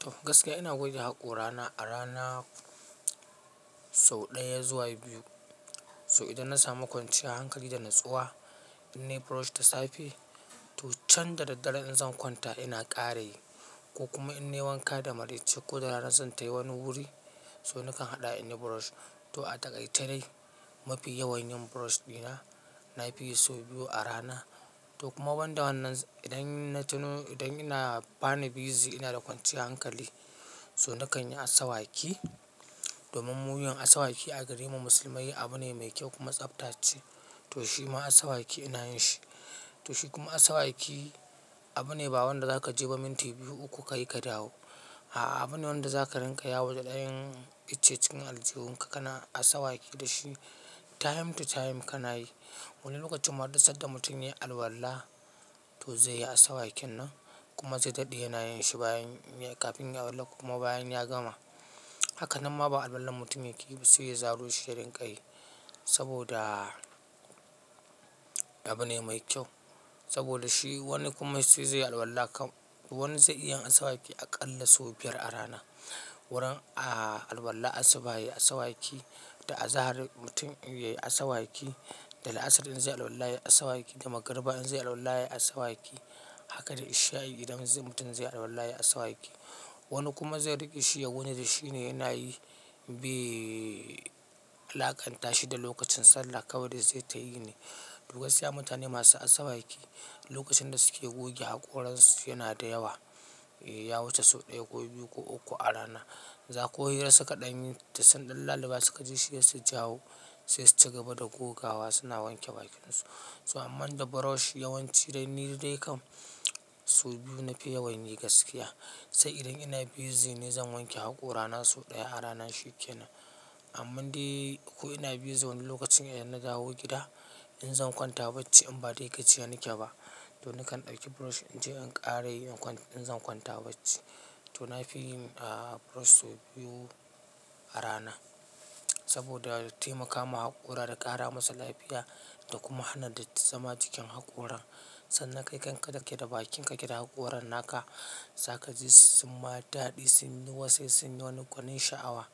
To gaskiya ina goge haƙora na a rana sau ɗaya zuwa biyu. So idan na samu kwanciyar hankali da natsuwa, in nayi brush da safe to can da daddare in zan kwanta ina ƙara yi ko kuma in na yi wanka da maraice ko da rana zan tafi wani wuri, to nakan haɗa in yi brush. To a takaice dai mafi yawan yin brush ɗina na fi yi sau biyu a rana. To kuma wanda wannan idan na tuno idan ina bana busy ina da kwanciyar hankali, to nakan yi asawaki. Domin muyi yin asawaki a garin mu musulmai abu ne mai kyau kuma tsaftace. To shi ma asawaki ina yin shi. To shi kuma asawaki abu ne ba wanda za ka je ba minti biyu uku ka yi ka dawo. A'a, abu ne wanda za ka rinƙa ya wo da ɗan icce-cikin aljihun ka kana asawaki da shi. Time to time ka na yi. Wani lokacin ma har da sanda mutum ya yi alwala to zai yi asawakin nan kuma zai daɗe yana yin shi kafin ya alwala kuma bayan ya gama. Haka nan ma ba alwalan mutum yake ba sai ya zaru shi ya rinƙa yi saboda abu ne mai kyau. Saboda shi wani kuma sai zai yi alwala kam, wani zai iya yin asawaki aƙalla sau biyar a rana. Wurin a alwala ya yi asawaki da azahar mutum ya yi asawaki da la'asar idan zai yi alwala ya yi asawaki da magarba in zai yi alwala ya yi asawaki. Haka da isha'i idan mutum zai yi alwala ya yi asawaki. Wani kuma zai riƙe shi ya wane da shi ne yana yi, be laƙanta shi da lokacin sallah kawai da zai tayi ne. To gaskiya mutane masu asawaki lokacin da suke goge haƙoran su yana da yawa. Ya wuce sau ɗaya ko biyu ko uku a rana. Za ko hira suka ɗan yi ta sun ɗan laluɓa suka ji shi sai su jawo sai su ci gaba da gogawa suna wanke bakin su. To amma da brush yawanci dai ni dai kam sau biyu na fi yawan yi gaskiya. Sai idan ina busy ne zan wanke haƙora na sau ɗaya a rana shi yake nan. Amma dai ko ina busy wani lokacin idan na dawo gida in zan kwanta bacci in ba dai ka jiya nike ba to nakan ɗauki brush in je in ƙara yi in zan kwanta bacci. To na fi yin brush sau biyu a rana saboda taimakawa haƙora da ƙara masa lafiya da kuma hana datti zama jikin haƙoran. Sannan kai kanka da ke da bakinka ke da haƙoran naka, za ka ji su ma daɗi, sun yi wasai, sun yi wani gwannin sha'awa.